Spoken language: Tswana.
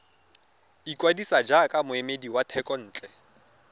ikwadisa jaaka moemedi wa thekontle